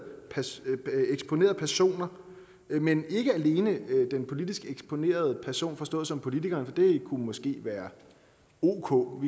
personer men ikke alene den politisk eksponerede person forstået som politikeren for det kunne måske være ok